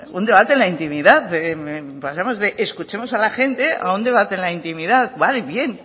un debate en la intimidad pasamos de escuchemos a la gente a un debate en la intimidad vale bien